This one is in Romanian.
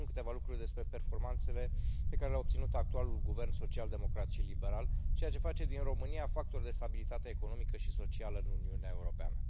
Să vă spun câteva lucruri despre performanțele pe care le a obținut actualul guvern social democrat și liberal, ceea ce face din România factor de stabilitate economică și socială în Uniunea Europeană.